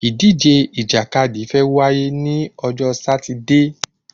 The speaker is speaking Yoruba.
Ìdíje ìjàkadì fe wá yé ni ojo Sátidé